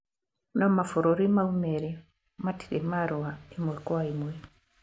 No mabũrũri mau merĩ matirĩ marũa ĩmwe kwa ĩmwe